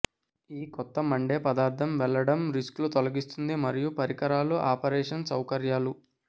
ఈ కొత్త మండే పదార్థం వెళ్లడం రిస్క్లు తొలగిస్తుంది మరియు పరికరాలు ఆపరేషన్ సౌకర్యాలు